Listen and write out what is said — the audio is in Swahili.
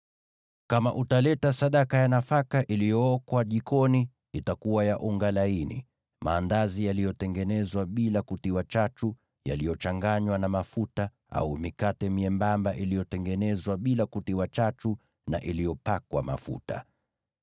“ ‘Kama utaleta sadaka ya nafaka iliyookwa jikoni, itakuwa ya unga laini: maandazi yaliyotengenezwa bila kutiwa chachu, yaliyochanganywa na mafuta, au mikate myembamba iliyotengenezwa bila kutiwa chachu, na iliyopakwa mafuta.